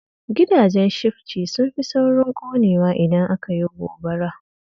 Gidajen shifci sun fi saurin ƙonewa idan aka yi gobara